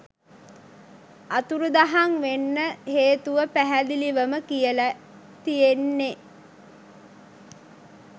අතුරුදහං වෙන්න හේතුව පැහැදිලිවම කියල තියෙන්නෙ